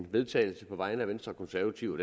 vedtagelse på vegne af venstre og konservative